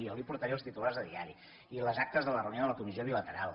jo li portaré els titulars de diari i les actes de la reunió de la comissió bilateral